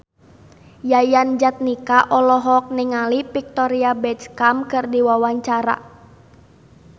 Yayan Jatnika olohok ningali Victoria Beckham keur diwawancara